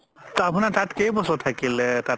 আপুনাৰ তাত কেই বছৰ থাকিলে তাত